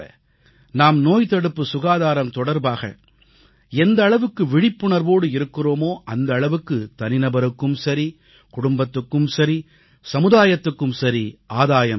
நாம் நோய்தடுப்பு சுகாதாரம் தொடர்பாக எந்த அளவுக்கு விழிப்புணர்வோடு இருக்கிறோமோ அந்த அளவுக்கு தனிநபருக்கும் சரி குடும்பத்துக்கும் சரி சமுதாயத்துக்கும் சரி ஆதாயம் ஏற்படும்